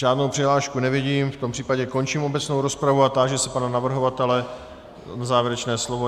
Žádnou přihlášku nevidím, v tom případě končím obecnou rozpravu a táži se pana navrhovatele na závěrečné slovo.